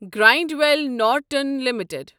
Granville Norton limited